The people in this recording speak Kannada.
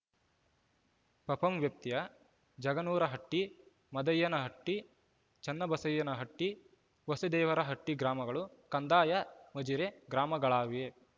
ಪಪಂ ವ್ಯಾಪ್ತಿಯ ಜಾಗನೂರಹಟ್ಟಿ ಮಾದನ್ ಯ್ಯನಹಟ್ಟಿ ಚನ್ನಬಸಯ್ಯನಹಟ್ಟಿ ಬೋಸೆದೇವರಹಟ್ಟಿಗ್ರಾಮಗಳು ಕಂದಾಯ ಮಜಿರೆ ಗ್ರಾಮಗಳಾಗಿವೆ